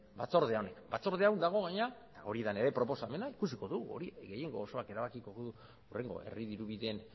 batzorde honek batzorde hau dago gainera eta hori da nire proposamena ikusiko dugu hori gehiengo osoak erabakiko du hurrengo herri dirubideen